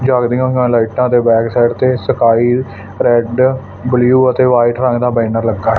ਜੱਗਦੀਆਂ ਹੋਈਆਂ ਲਾਈਟਾਂ ਦੇ ਬੈਕ ਸਾਈਡ ਤੇ ਸਕਾਈ ਰੈਡ ਬਲੂ ਅਤੇ ਵਾਈਟ ਰੰਗ ਦਾ ਬੈਨਰ ਲੱਗਾ ਐ।